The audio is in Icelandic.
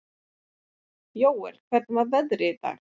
Jóel, hvernig er veðrið í dag?